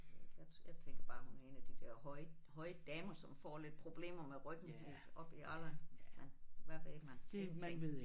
Jeg jeg tænker bare hun er en af de der høje høje damer som får lidt problemer med ryggen når de oppe i alderen men hvad ved man ingenting